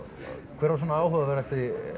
hver var svona áhugaverðasti